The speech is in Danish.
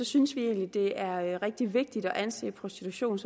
synes vi egentlig at det er rigtig vigtigt at anse prostitution